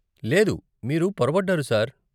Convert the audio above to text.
లేదు, మీరు పొరబడ్డారు సార్.